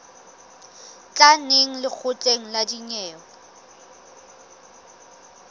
tla neng lekgotleng la dinyewe